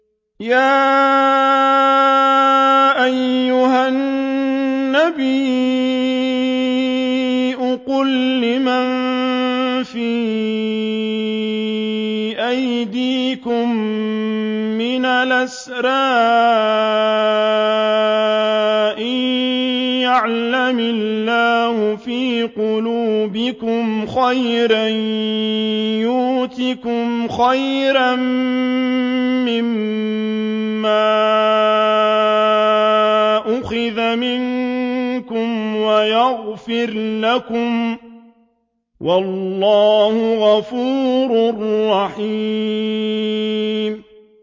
يَا أَيُّهَا النَّبِيُّ قُل لِّمَن فِي أَيْدِيكُم مِّنَ الْأَسْرَىٰ إِن يَعْلَمِ اللَّهُ فِي قُلُوبِكُمْ خَيْرًا يُؤْتِكُمْ خَيْرًا مِّمَّا أُخِذَ مِنكُمْ وَيَغْفِرْ لَكُمْ ۗ وَاللَّهُ غَفُورٌ رَّحِيمٌ